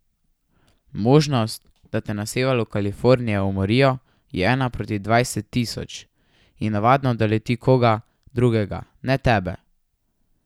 Možnost, da te na severu Kalifornije umorijo, je ena proti dvajset tisoč, in navadno doleti koga drugega, ne tebe.